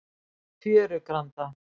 Fjörugranda